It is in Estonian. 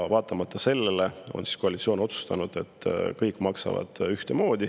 Vaatamata sellele on koalitsioon otsustanud, et kõik maksavad ühtemoodi.